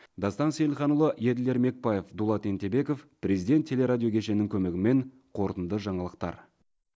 дастан сейілханұлы еділ ермекбаев дулат ентебеков президент теле радио кешенінің көмегімен қорытынды жаңалықтар